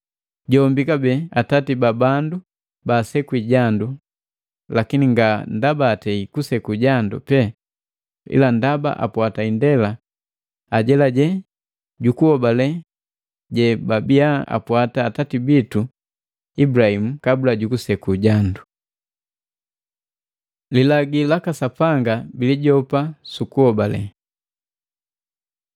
Jombi kabee atati ba bandu baasekwi jandu, lakini nga ndaba atei kuseku jandu pee, ila ndaba apwata indela ajelajela jukuhobalela jebabia apwata atati bitu Ibulahimu kabula jukuseku jandu. Lilagi laka Sapanga bilijopa sukuhobale